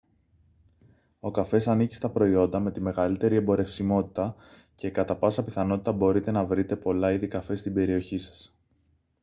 ο καφές ανήκει στα προϊόντα με τη μεγαλύτερη εμπορευσιμότητα και κατά πάσα πιθανότητα μπορείτε να βρείτε πολλά είδη καφέ στην περιοχή σας